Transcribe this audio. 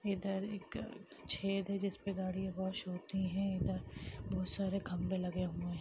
इधर एक छेद है जिसपे गाड़ी वाॅश होती है इधर बहुत सारे खंभे लगे हूए हैं।